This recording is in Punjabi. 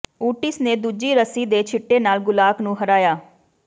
ਓਟਿਸ ਨੇ ਦੂਜੀ ਰੱਸੀ ਦੇ ਛਿੱਟੇ ਨਾਲ ਗੁਲਾਕ ਨੂੰ ਹਰਾਇਆ